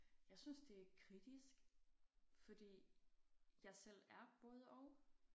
Jeg synes det er kritisk fordi jeg selv er både og